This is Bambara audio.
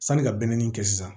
Sanni ka be n kɛ sisan